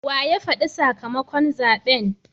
Wa ya fadi sakamakon zaben?